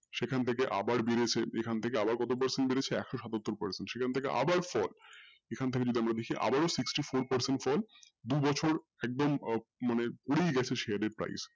সেখান থেকে আবার বেড়েছে সেখান থেকে আবার কতো বেড়েছে একশো সাতাত্তর percent সেখান থেকে আবার fall এখান থেকে আবার যদি আমরা দেখি আবার sixty-four percent fall দু বছর একদম মানে ঘুরেই গেছে share এর price